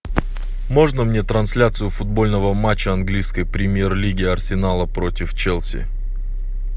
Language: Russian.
можно мне трансляцию футбольного матча английской премьер лиги арсенала против челси